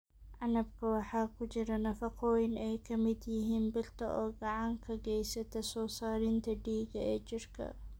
Canabka waxaa ku jira nafaqooyin ay ka mid yihiin birta oo gacan ka geysata soo saarista dhiigga ee jirka.